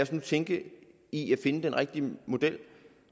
skal tænke i at finde den rigtige model